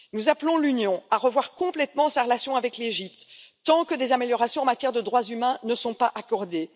Nous appelons l'Union à revoir complètement sa relation avec l'Égypte, tant que des améliorations en matière de droits humains ne sont pas accordées.